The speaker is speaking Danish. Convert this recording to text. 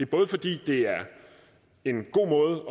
både fordi det er en god måde